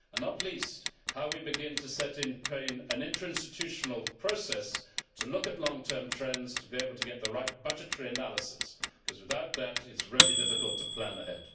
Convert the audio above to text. Not least, how we begin to set in train an interinstitutional process that will look at long term trends and that will enable us to get the right budgetary analysis, because without that, it is really difficult to plan ahead.